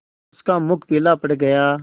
उसका मुख पीला पड़ गया